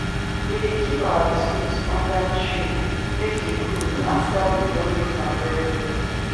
we dey keep our tools under tree make e cool after we don use am well well